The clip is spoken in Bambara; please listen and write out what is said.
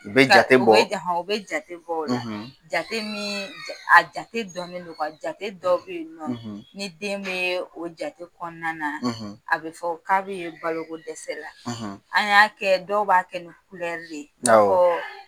U bɛ jate bɔ, , o jate bɔ o la. , jate min, a jate dɔnnen don . jate dɔ bɛ yen nɔ, , ni den bɛ o jate kɔnɔna na, , a bɛ fɔ k'a bɛ balo ko dɛsɛ la. . An y'a kɛ dɔw b'a kɛ ni de ye, awɔ, i n'a fɔ